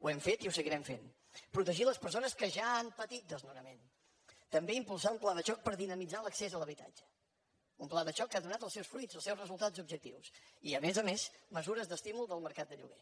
ho hem fet i ho seguirem fent protegir les persones que ja han patit desnonament també impulsar un pla de xoc per dinamitzar l’accés a l’habitatge un pla de xoc que ha donat els seus fruits els seus resultats objectius i a més a més mesures d’estímul del mercat de lloguer